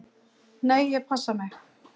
"""Nei, ég passa mig."""